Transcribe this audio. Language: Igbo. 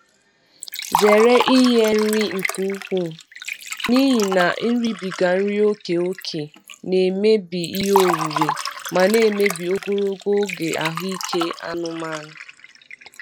Zere inye nri nke ukwuu n'ihi na iribiga nri ókè ókè na-emebi ihe onwunwe ma na-emebi ogologo oge ahụ ike anụmanụ.